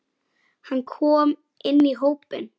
Hann kom inn í hópinn.